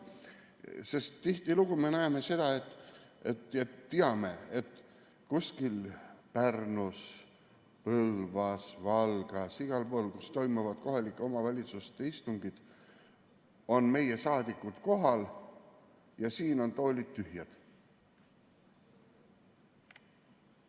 Sest tihtilugu me näeme, et kuskil Pärnus, Põlvas, Valgas, igal pool, kus toimuvad kohalikes omavalitsustes istungid, on meie saadikud kohal ja siin on toolid tühjad.